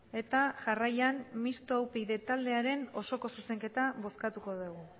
eta jarraian mistoa upyd taldearen osoko zuzenketa bozkatuko degu